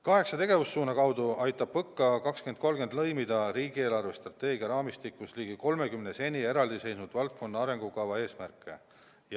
Kaheksa tegevussuuna kaudu aitab PõKa 2030 lõimida riigi eelarvestrateegia raamistikus ligi 30 seni eraldi seisnud valdkondliku arengukava eesmärke.